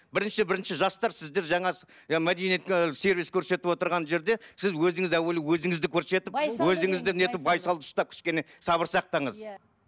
бірінші жастар сіздер жаңа ы мәдениетті ы сервис көрсетіп отырған жерде сіз өзіңізді әуелі өзіңізді көрсетіп өзіңізді нетіп байсалды ұстап кішкене сабыр сақтаңыз иә